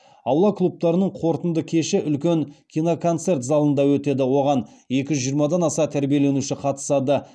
аула клубтарының қорытынды кеші үлкен киноконцерт залында өтеді оған екі жүз жиырмадан аса тәрбиеленуші қатысады